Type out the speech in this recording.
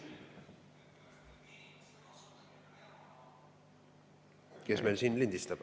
Kes meil siin lindistab?